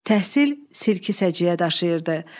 Təhsil silki səciyyə daşıyırdı.